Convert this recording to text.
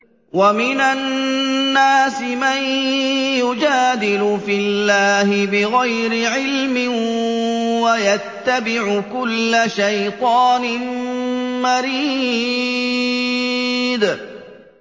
وَمِنَ النَّاسِ مَن يُجَادِلُ فِي اللَّهِ بِغَيْرِ عِلْمٍ وَيَتَّبِعُ كُلَّ شَيْطَانٍ مَّرِيدٍ